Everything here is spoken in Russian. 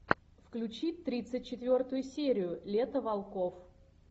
включи тридцать четвертую серию лето волков